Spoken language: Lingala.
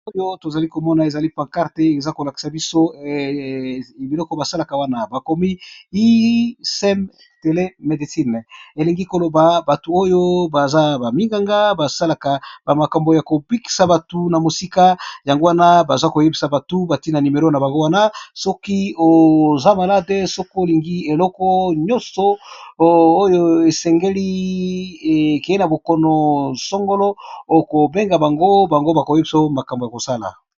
Oyo tozali komona ezali pa karte eza kolakisa biso biloko basalaka wana, ba komi ii sem tele medicine, elingi koloba batu oyo baza ba minganga ba salaka ba makambo yako bikisa batu na mosika yango wana baza koyebisa batu batie na numero na bango wana soki oza malade soki olingi eloko nyonso oyo esengeli ekeyi na bokono sangolo oko benga bango bango ba koyebisa makambo ya kosala.